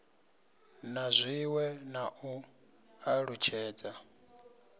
na zwiwe na u alutshedza